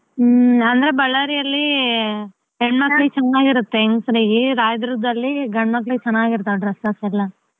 ಹ್ಮ್‌ Ballary ಯಲ್ಲಿ ಹೆಣ್ಮಕಳಿಗೆ ಚೆನ್ನಾಗಿರುತ್ತೆ ಹೆಂಗ್ಸ್ರಿಗೆ Rayadurga ದಲ್ಲಿ ಗಂಡ್ಮಕ್ಲಿಗೆ ಚೆನ್ನಾಗಿರುತ್ತವೆ dresses ಎಲ್ಲ.